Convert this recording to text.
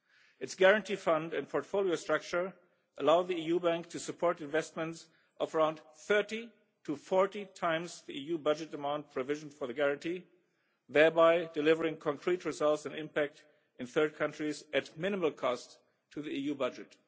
Its Guarantee Fund and portfolio structure allow the EU bank to support investment of around 30 to 40 times the EU budget demand provisions for the guarantee, thereby delivering concrete results and impact in third countries at minimal cost to the EU budget.